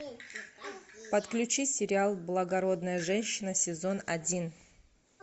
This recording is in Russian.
подключи сериал благородная женщина сезон один